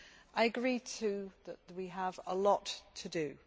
I agree too that we have a lot to do.